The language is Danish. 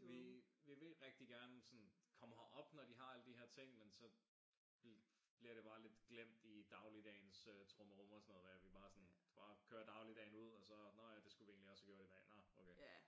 Vi vi vil rigtig gerne sådan komme herop når de har alle de her ting men så bliver det bare lidt glemt i dagligdagens trummerum og sådan noget med at vi bare sådan bare kører dagligdagen ud og så nå ja det skulle vi egentlig også have gjort i dag. Nå okay.